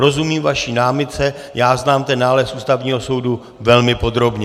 Rozumím vaší námitce, já znám ten nález Ústavního soudu velmi podrobně.